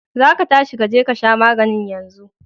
za ka tashi ka je ka sha maganin yanzu!